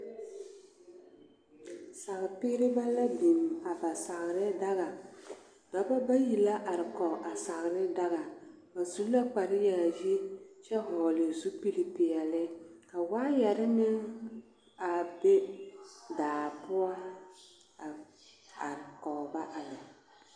Saapeerebɛ la biŋ a ba saare daɡa dɔbɔ bayi la are kɔɡe a saare daɡa ba su la kparyaayi kyɛ hɔɔle zupilipeɛle ka waayɛre meŋ a be daa poɔ a are kɔɡe ba a lɛ.